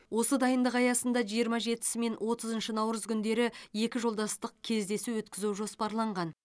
осы дайындық аясында жиырма жетісі және отызыншы наурыз күндері екі жолдастық кездесу өткізу жоспарланған